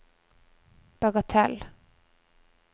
bagatell